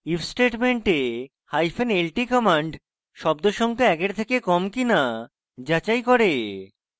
if statement hyphen lt command শব্দ সংখ্যা একের থেকে কম কিনা যাচাই করে